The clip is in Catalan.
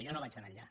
jo no vaig tan enllà